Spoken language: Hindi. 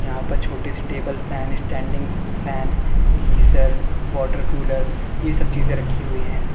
यहां पर छोटी सी table fan standing fan geyser water cooler ये सब चीजें रखी हुई है।